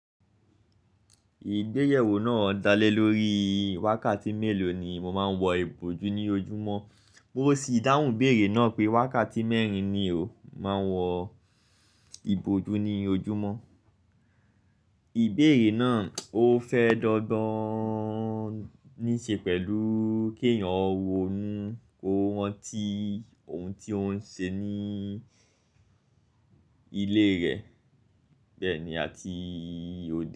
Ìgbéyewó náà dálé lórí wákàtí mélòó ni mo máa ń wọ ìbòjú ní ojúmọ́? Mo sì dáhùn ibéèrè náà pé wákàtí mẹ́rin ni o máa ń wọ ìbòjú ní ojúmọ́. Ìbéèrè náà ó fẹ́ dogbon ní ṣe pẹ̀lú kí èèyàn rónu ko ranti ohun tí ó ń ṣe ní ilé rẹ̀ bẹ́ẹ̀ ni àti o.